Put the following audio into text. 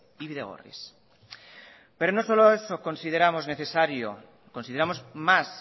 y bidegorris pero no solo eso consideramos más